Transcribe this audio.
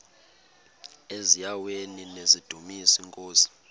eziaweni nizidumis iinkosi